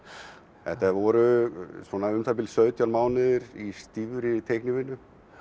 þetta voru svona um það bil sautján mánuðir í stífri teiknivinnu